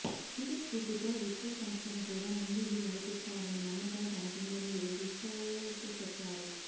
ఇదే స్ఫూర్తితో విప్రో సంస్థను కూడా ముందుండి నడిపిస్తారనే నమ్మకం తనకుందని రిషద్ చెప్పారు